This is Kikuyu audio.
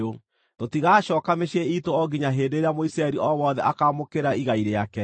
Tũtigacooka mĩciĩ iitũ o nginya hĩndĩ ĩrĩa Mũisiraeli o wothe akaamũkĩra igai rĩake.